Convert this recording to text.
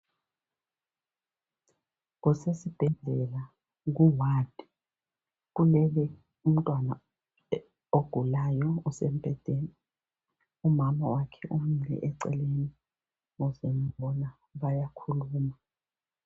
Kusesibhedlela kuward kulele umntwana ogulayo osembhedeni. Umama wakhe umile eceleni ukuzembona bayakhuluma.